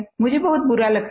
मुझे बहुत बुरा लगता है